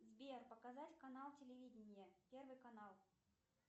сбер показать канал телевидения первый канал